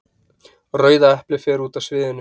Rauða eplið fer út af sviðinu.